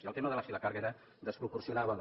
i el tema de si la càrrega era desproporcionada o no